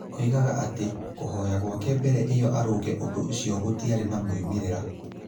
Oigaga atĩ, kũhoya gwake mbere ĩyo arũnge ũndũ ũcio gũtiarĩ na moimĩrĩro.